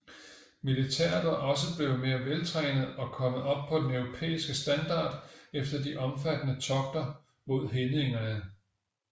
Militæret var også blevet mere veltrænet og kommet op på den europæiske standard efter de omfattende togter mod hedningene